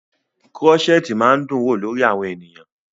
Krọ́ṣẹ̀tì máa ń dún wò lórí àwọn ènìyàn.